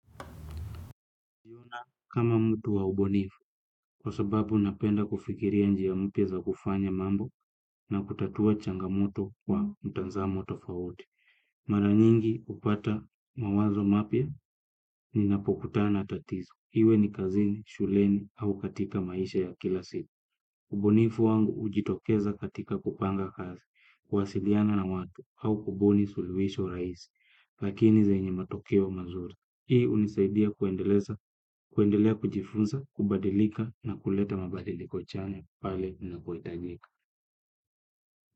Yuna kama mtu wa ubunifu, kwa sababu napenda kufikiria njia mpya za kufanya mambo na kutatua changamoto kwa mtazamo tofauti. Mara nyingi hupata mawazo mapya ninapokutana na tatizo. Iwe ni kazini, shuleni au katika maisha ya kila siku. Ubunifu wangu hujitokeza katika kupanga kazi, kuwasiliana na watu au kubuni sulihisho rahisi. Lakini zenye matokeo mazuri. Hii hunisaidia kuendeleza, kuendelea kujifunza, kubadilika na kuleta mabadiliko chanya pale inapohitajika.